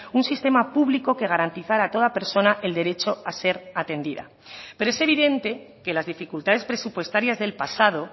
un sistema público que garantizara a toda persona el derecho a ser atendida pero es evidente que las dificultades presupuestarias del pasado